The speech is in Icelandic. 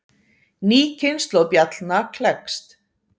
Ný kynslóð bjallna klekst.